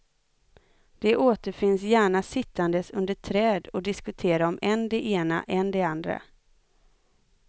De återfinns gärna sittandes under träd och diskutera om än det ena, än det andra.